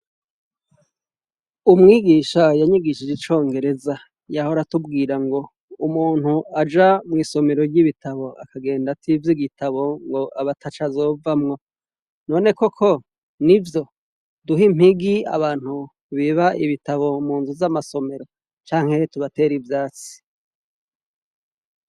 Umwigisha yanyigishije icongereza, yahora atubwira ngo:"umuntu aja mw'isomero ry'ibitabo, akagenda ativye igitabo aba ataco azovamwo."None koko n'ivyo? Duhe impigi abantu biba ibitabo mu nzu z'amasomero, canke tubatere ivyatsi?